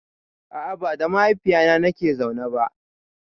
A a ba da mahaifina nake zaune ba.